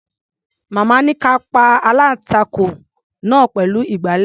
Màmá ní ká a pa aláǹtakùn náà pẹ̀lú ìgbàlẹ̀.